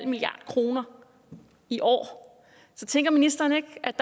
milliard kroner i år så tænker ministeren ikke at